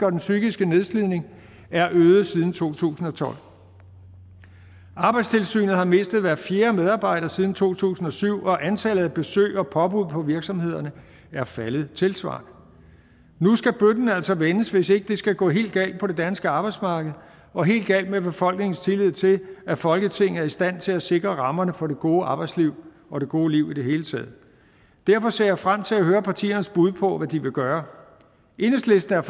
og den psykiske nedslidning er øget siden to tusind og tolv arbejdstilsynet har mistet hver fjerde medarbejder siden to tusind og syv og antallet af besøg og påbud på virksomhederne er faldet tilsvarende nu skal bøtten altså vendes hvis ikke det skal gå helt galt på det danske arbejdsmarked og helt galt med befolkningens tillid til at folketinget er i stand til at sikre rammerne for det gode arbejdsliv og det gode liv i det hele taget derfor ser jeg frem til at høre partiernes bud på hvad de vil gøre enhedslisten er